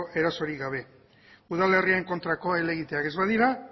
erasorik gabe udalerrien kontrako helegiteak ez badira